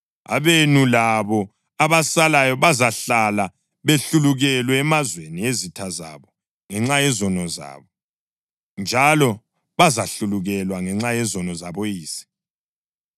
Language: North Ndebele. Abenu labo abasalayo bazahlala behlulukelwe emazweni ezitha zabo ngenxa yezono zabo, njalo bazahlulukelwa ngenxa yezono zaboyise.